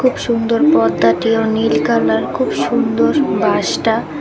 খুব সুন্দর পর্দা দেওয়া নীল কালার খুব সুন্দর বাঁশটা ।